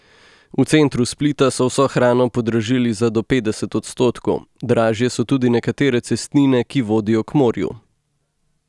V centru Splita so vso hrano podražili za do petdeset odstotkov, dražje so tudi nekatere cestnine, ki vodijo k morju.